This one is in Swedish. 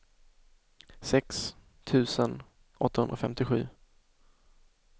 sex tusen åttahundrafemtiosju